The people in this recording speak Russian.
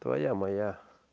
твоя мала